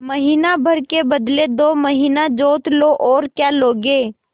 महीना भर के बदले दो महीना जोत लो और क्या लोगे